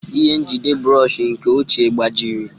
Ihe njide bụrọshị nke ochie gbajiri.